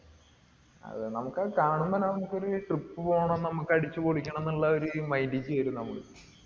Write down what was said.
അതെ നമുക്കതു കാണുമ്പോള് തന്നെ നമ്മുക്കൊരു trip പോണം നമ്മുക്ക് അടിച്ചുപൊളിക്കണം എന്നുള്ള ഒരു mind ലേക്ക് വരും നമ്മൾ